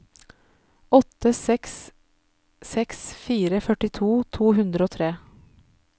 åtte seks seks fire førtito to hundre og tre